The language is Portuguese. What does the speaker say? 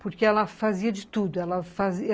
Porque ela fazia de tudo. Ela fazia